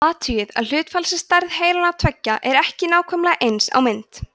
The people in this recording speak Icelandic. athugið að hlutfallsleg stærð heilanna tveggja er ekki nákvæmlega eins á mynd